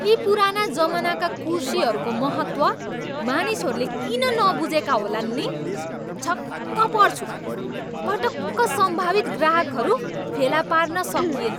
यी पुराना जमानाका कुर्सीहरूको महत्त्व मानिसहरूले किन नबुझेका होलान् नि? छक्क पर्छु। पटक्क सम्भवित ग्राहकहरू फेला पार्न सकिएन।